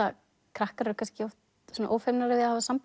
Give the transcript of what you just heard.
krakkar eru oft ófeimnari að hafa samband